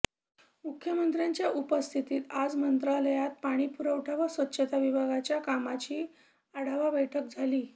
मुख्यमंत्र्यांच्या उपस्थितीत आज मंत्रालयात पाणीपुरवठा व स्वच्छता विभागाच्या कामाची आढावा बैठक झाली